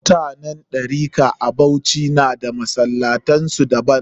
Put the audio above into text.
Mutanen Ɗarika a Bauchi na da masallatan su daban